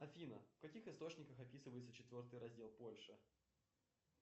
афина в каких источниках описывается четвертый раздел польши